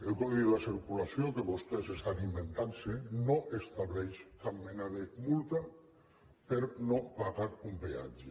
el codi de circulació que vostès s’inventen no estableix cap mena de multa per no haver pagat un peatge